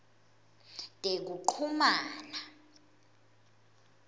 tekuchumana